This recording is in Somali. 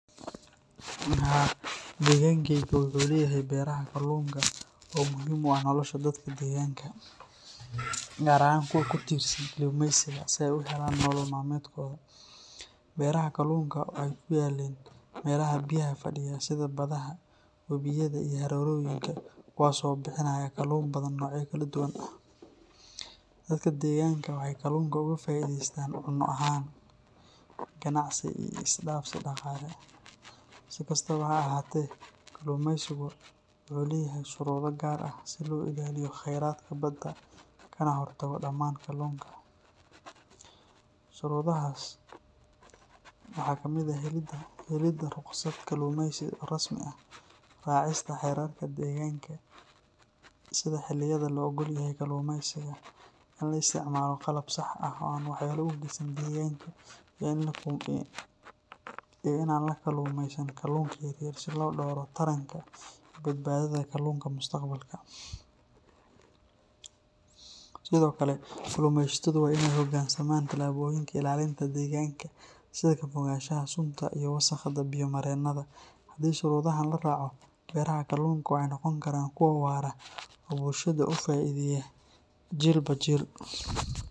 Haa, deegankayga wuxuu leeyahay berraha kalluunka oo muhiim u ah nolosha dadka deegaanka, gaar ahaan kuwa ku tiirsan kalluumeysiga si ay u helaan nolol maalmeedkooda. Berraha kalluunka waxay ku yaalliin meelaha biyaha fadhiya sida badaha, webiyada iyo harooyinka kuwaasoo bixinaya kalluun badan noocyo kala duwan ah. Dadka deegaanka waxay kalluunka uga faa'iidaystaan cunno ahaan, ganacsi iyo is dhaafsi dhaqaale. Si kastaba ha ahaatee, kalluumeysiga wuxuu leeyahay shuruudo gaar ah si loo ilaaliyo khayraadka badda kana hortago dhammaan kalluunka. Shuruudahaas waxaa ka mid ah helidda ruqsad kalluumeysi oo rasmi ah, raacista xeerarka deegaanka sida xilliyada la oggol yahay kalluumeysiga, in la isticmaalo qalab sax ah oo aan waxyeello u geysan deegaanka iyo in aan la kalluumeysan kalluunka yaryar si loo dhowro taranka iyo badbaadada kalluunka mustaqbalka. Sidoo kale, kalluumeysatadu waa in ay u hoggaansamaan tallaabooyinka ilaalinta deegaanka sida ka fogaanshaha sunta iyo wasakhda biyo-mareennada. Haddii shuruudahaan la raaco, berraha kalluunka waxay noqon karaan kuwo waara oo bulshada uga faa’iideeya jiilba jiil.